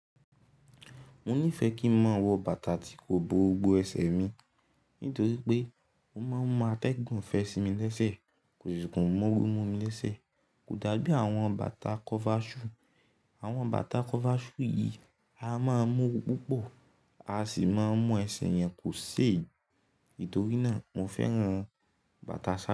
Mo nífẹ́ kí ń mọ wọ bàtà tí kò bo gbogbo ẹsẹ̀ mi nítorí pé ó máa ń mú atẹ́gùn fẹ́ sí mi lẹsẹ, kò sì kun móoru mu mi lẹsẹ. Kò dá bí àwọn bàtà kọ́fáṣú. Àwọn bàtà kọ́fáṣú yìí a máa mú ooru púpọ̀, a sì máa mu ẹsẹ̀ yẹn kò sé. Nítorí náà, mo fẹ́ran bàtà sáà.